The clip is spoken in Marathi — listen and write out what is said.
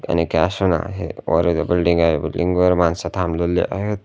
योनो कॅश ऑन आहे वर एक बिल्डिंग आहे बिल्डिंग वर माणसं थांबलेली आहेत.